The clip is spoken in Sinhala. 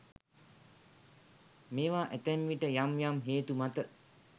මේවා ඇතැම් විට යම් යම් හේතු මත